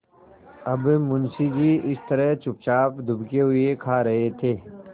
अब मुंशी जी इस तरह चुपचाप दुबके हुए खा रहे थे